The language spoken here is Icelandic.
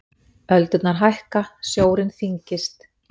Öldurnar hækka, sjórinn þyngist.